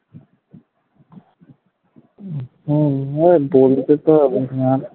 হম না